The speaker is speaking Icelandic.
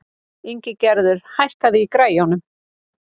Ingigerður, hækkaðu í græjunum.